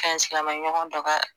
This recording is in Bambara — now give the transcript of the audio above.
ka ɲi silamɛɲɔgɔn dɔ ka